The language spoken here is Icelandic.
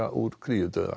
úr